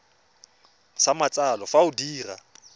sa matsalo fa o dira